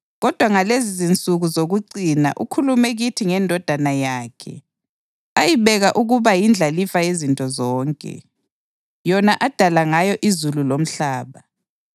kodwa ngalezizinsuku zokucina ukhulume kithi ngeNdodana yakhe, ayibeka ukuba yindlalifa yezinto zonke, yona adala ngayo izulu lomhlaba.